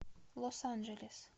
лос анджелес